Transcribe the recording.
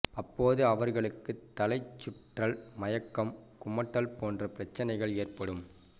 அப்போது அவர்களுக்கு தலைசுற்றல் மயக்கம் குமட்டல் போன்ற பிரச்சனைகள் ஏற்படும்